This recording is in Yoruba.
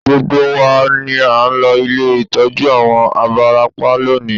Gbogbo wa ni à ń lọ ilé ìtọ́jú àwọn abarapá lónìí